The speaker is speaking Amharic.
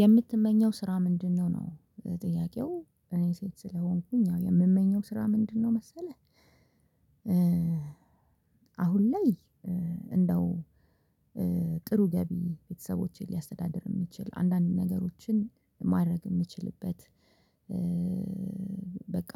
የምትመኘው ስራ ምንድነው? ነው ጥያቄው እኔ ሴት ስለሆንኩኝ ያው የምመኘው ስራ ምንድነው መሰለህ። አሁን ላይ እንደው ጥሩ ገቢ ቤተሰቦቼን ሊያስተዳድር የሚችል አንዳንድ ነገሮችን ማድረግ የሚችልበት በቃ